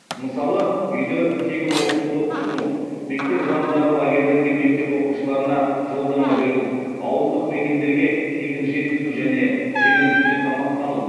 мысалы үйде тегін оқытуды ұсыну мектеп жанындағы лагерьлерге мектеп оқушыларына жолдама беру ауылдық мекендерге тегін жеткізу және жеңілдікпен тамақтану